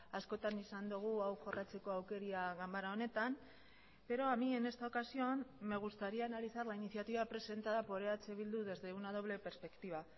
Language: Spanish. askotan izan dugu hau jorratzeko aukera ganbara honetan pero a mí en esta ocasión me gustaría analizar la iniciativa presentada por eh bildu desde una doble perspectiva